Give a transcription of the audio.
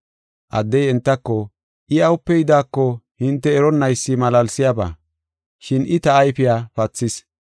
Addey entako, “I awupe yidaako hinte eronnaysi malaalsiyaba, shin I ta ayfiya pathis.